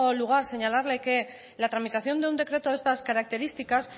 lugar señalarle que la tramitación de un decreto de estas características